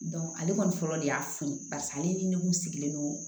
ale kɔni fɔlɔ de y'a f'i ye pase ale ni ne kun sigilen don